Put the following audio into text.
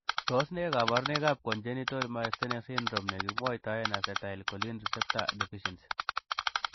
Tos nee koborunoikab Congenital myasthenic syndrome nekimwoitoen acetylcholine receptor deficiency?